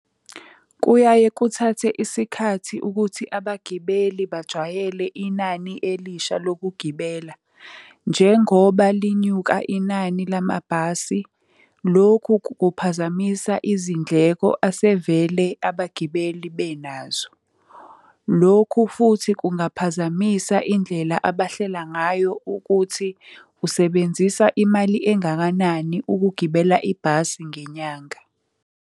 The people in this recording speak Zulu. Kuyaye kuthathe isikhathi ukuthi abagibeli bajwayele inani elisha lokugibela. Njengoba linyuka inani lamabhasi, lokhu kuphazamisa izindleko asevele abagibeli benazo. Lokhu futhi kungaphazamisa indlela abahlela ngayo ukuthi usebenzisa imali engakanani ukugibela ibhasi ngenyanga.